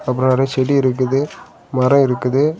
அப்புறம் நறைய செடி இருக்குது மரம் இருக்குது.